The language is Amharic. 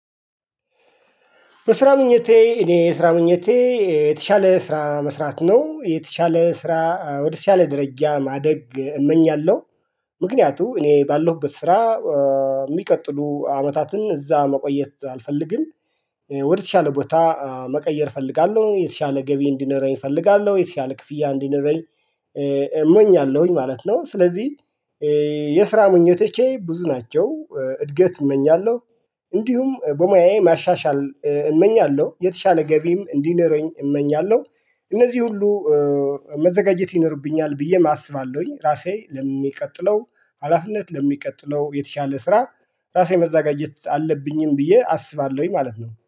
በስራ ምኞቴ እኔ የስራ ምኞቴ የተሻለ ስራ መስራት ነው የተሻለ ስራ ወደተሻለ ደረጃ ማደግ እመኛለሁ። ምክንያቱም እኔ ባለሁበት ስራ የሚቀጥሉ አመታትን እዛ መቆየት አልፈልግም። ወደተሻለ ቦታ መቀየር እፈልጋለሁ የተሻለ ገቢ እንዲኖረኝ እፈልጋለሁ የተሻለ ክፍያ እንዲኖረኝ። እመኛለሁኝ ማለት ነው። ስለዚህ የስራ ምኞቶቼ ብዙ ናቸው እድገት እመኛለሁ። እንዲሁም በሙያዬ ማሻሻል እመኛለሁ የተሻለ ገቢም እንዲኖረኝ እመኛለሁ። እነዚህ ሁሉ መዘጋጀት ይኖርብኛል ብዬም አስባለሁኝ። ራሴ ለሚቀጥለው ሀላፊነት ለሚቀጥለው የተሻለ ስራ። ራሴ መዘጋጀት አለብኝም ብዬ አስባለሁኝ ማለት ነው